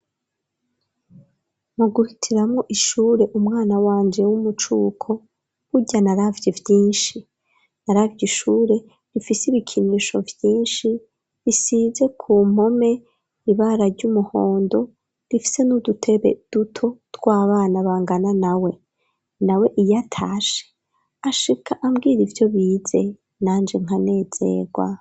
Mu guhitiramwo ishure umwana wanje w'umucuko burya na ravye vyinshi na ravyo ishure rifise ibikinisho vyinshi risize ku mpome ibara ry'umuhondo rifise n'udutebe duto tw'abana bangana nawe; nawe iyatashe ashika ambwira ivyo bize nanje nkanezerwa.